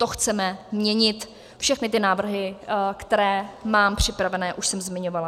To chceme měnit, všechny ty návrhy, které mám připravené, už jsem zmiňovala.